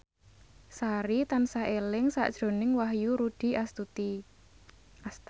Sari tansah eling sakjroning Wahyu Rudi Astadi